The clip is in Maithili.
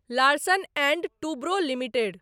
Larsen and Toubro limited